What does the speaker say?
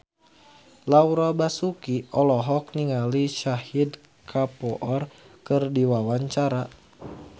Laura Basuki olohok ningali Shahid Kapoor keur diwawancara